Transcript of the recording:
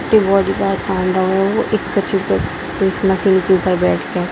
की body bag टांग रहा वो एक कछु पे उस मशीन के ऊपर बैठ के।